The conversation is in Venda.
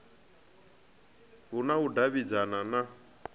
hu na u davhidzana na